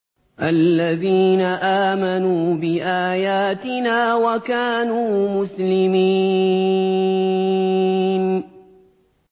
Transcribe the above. الَّذِينَ آمَنُوا بِآيَاتِنَا وَكَانُوا مُسْلِمِينَ